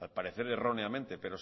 al parecer erróneamente pero